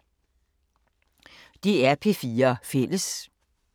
DR P4 Fælles